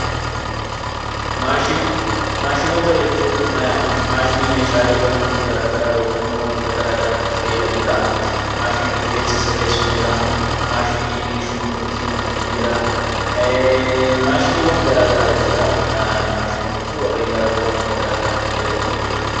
Maashinoota. Maashinoota jechuun maashinii meeshaalee garaa garaa yookiin wantoota garaa garaaf itti fayyadamnuudha. Maashiniin rifeensa sirreessu ni jira, maashiniin shunkurtii kukkutu ni jira fi wantoota garaa garaatiif kan itti fayyadmnu jechuudha.